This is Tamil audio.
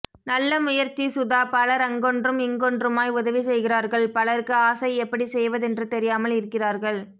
நல்ல முயற்ச்சி சுதா பலர் அங்கொன்றும் இங்கொன்றுமாய் உதவி செய்கிறார்கள் பலருக்கு ஆசை எப்படி செய்வதென்று தெரியாமல் இருக்கிறார்கள்